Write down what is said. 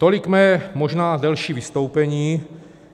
Tolik možná mé delší vystoupení.